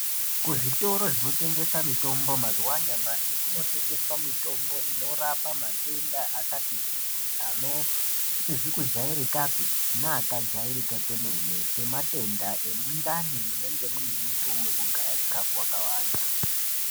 Kuzvitoro zvinotengesa mitombo mazuwa anyamashi, kunotengeswa mitombo inorapa matenda akati kuti ano asizi kujairikapi neakajairika kwemene ,sematenda emundani munenge muine mutuwi wekugaya chikhafu wakawanda.